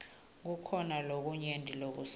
kukhona lokunyenti lokusele